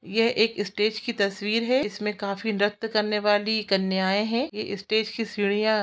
ये स्टेज की तस्वीर है इसमें काफी नृत्य करने वाली कन्याएं है ये स्टेज की सीढ़ीयाँ --